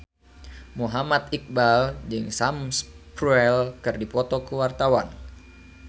Muhammad Iqbal jeung Sam Spruell keur dipoto ku wartawan